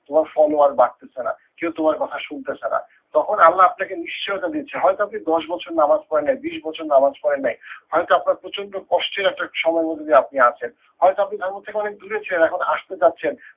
তোমার follower বাড়তেসে না, কেউ তোমার কথা শুনতেসে না তখন আল্লা আপনাকে নিশ্চয়তা দিচ্ছে হয়তো আপনি দশ বছর নামাজ পড়েন নাই বিশ বছর নামাজ পড়েন নাই, হয়তো আপনার প্রচন্ড কষ্টের একটা সময়ের মধ্যে দিয়ে আপনি আছেন। হয়তো আপনি ধর্মের থেকে অনেক চলে গেছেন এখন আসতে চাচ্ছেন